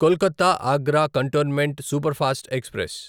Kolkata Agra cantonment superfast express